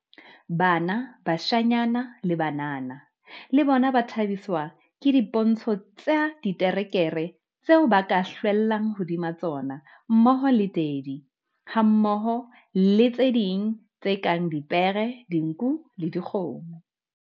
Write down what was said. Bana, bashanyana le banana, le bona ba thabiswa ke dipontsho tsa diterekere tseo ba ka hlwellang hodima tsona mmoho le Daddy hammoho le tse ding tse kang dipere, dinku le dikgomo.